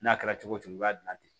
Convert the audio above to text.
N'a kɛra cogo o cogo i b'a dilan ten